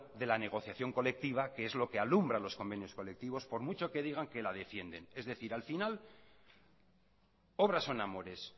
de la negociación colectiva que es lo que alumbra los convenios colectivos por mucho que digan que la defienden es decir al final obras son amores